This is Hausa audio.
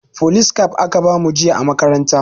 Folis kaf aka bamu jiya a makaranta